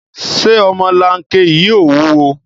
Ṣé ọmọlanke yìí ò wúwo?